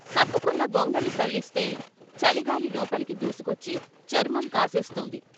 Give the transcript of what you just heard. కప్పుకున్న గొంగళి సళ్ళిస్తే చలిగాలి లోపలికి దూసుకొచ్చి చర్మం కాసేస్తుంది.